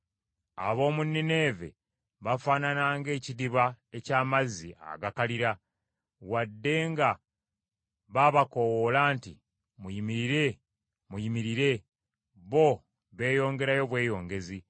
Ab’omu Nineeve bafaanana ng’ekidiba eky’amazzi agakalira. Wadde nga babakoowoola nti, “Muyimirire, muyimirire!” bo beeyongerayo bweyongezi.